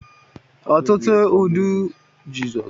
Ọtụtụ ọdụ ụgbọ mmiri bụ ebe njem nlegharị anya